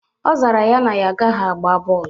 Ọ zara ya na ya agaghị agba bọọlụ.